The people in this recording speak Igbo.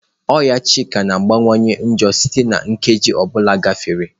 Ọnya Chika na-akawanye njọ site na nkeji ọ bụla na-agafe.